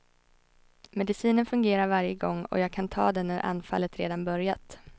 Medicinen fungerar varje gång och jag kan ta den när anfallet redan börjat.